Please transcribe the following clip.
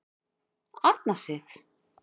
Arna Sif.